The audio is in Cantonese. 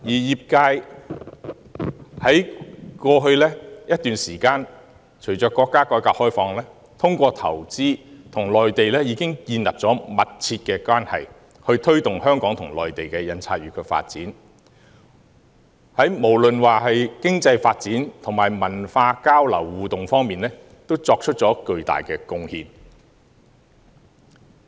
商會在過去一段時間，隨着國家改革開放，透過投資，與內地建立了密切關係，推動香港與內地印刷業的發展，無論是在經濟發展及文化交流互動方面，均作出了巨大貢獻。